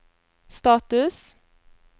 status